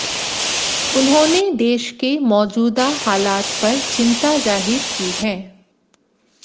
उन्होंने देश के मौजूदा हालात पर चिंता जाहिर की है